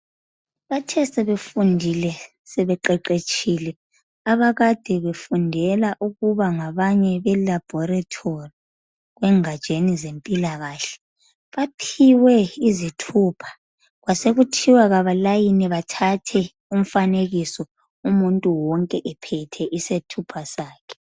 Bathe sebefundile, sebeqheqhetshile, abakade befundela ukubangabanye belaboratory kwengatsheni zempilakahle. Baphiwe izithupha, kwasekuthiwa kabalayini bathathe umfanekiso umuntu wonke ephethe isethupha sakhe.